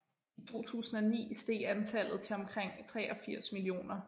I 2009 steg antallet til omkring 83 millioner